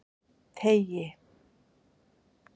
Teigi